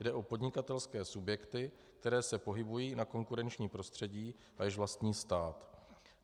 Jde o podnikatelské subjekty, které se pohybují na konkurenčním prostředí a jež vlastní stát.